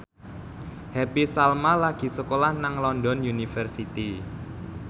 Happy Salma lagi sekolah nang London University